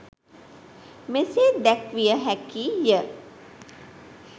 මෙසේ දැක්විය හැකි ය.